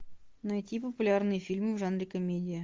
найти популярные фильмы в жанре комедия